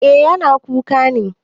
Eh yana kuka ne.